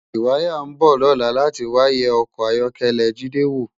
Riwàyá n bò lòlá làtí wá yè òkò áyòkèlè Jide wó